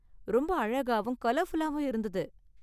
ரொம்ப அழகாவும், கலர்ஃபுல்லாவும் இருந்தது.